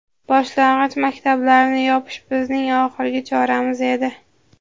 Boshlang‘ich maktablarni yopish bizning oxirgi choramiz edi.